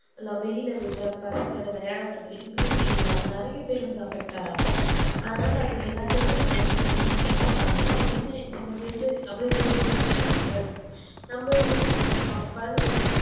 வெளில விடுற பசங்களோட விளையாடுரதா immunity இல்லாம நெறைய பேர் இதுல affect ஆகுறாங்கஅதுனால அதுக்கெல்லாத்துக்குமே genetic தான் காரணம் genetic இந் நம்ம generation அப்புடியே generation generation வரதுதான் நம்மளோட இது நம்ம பாவ குழந்தைகளுக்கு